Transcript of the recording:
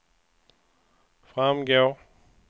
framgår